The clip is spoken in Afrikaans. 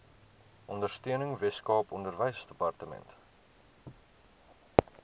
ondersteuning weskaap onderwysdepartement